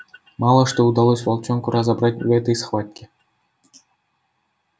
мало что удалось волчонку разобрать в этой схватке